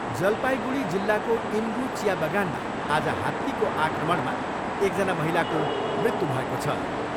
जलपाइगुढी जिल्लाको इनगु चिया बगानमा आज हात्तीको आक्रमणमा एकजना महिलाको मृत्यु भएको छ।